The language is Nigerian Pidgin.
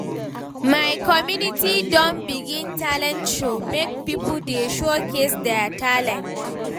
My community don begin talent show make pipo dey showcase their talent.